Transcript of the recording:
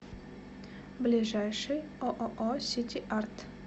ближайший ооо сити арт